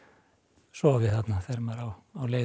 sofi þarna þegar maður á leið um